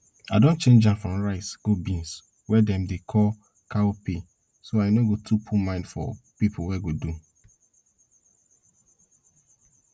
i don change am from rice go beans wey dem dey call cowpea so i no go too put mind for pipo wey go do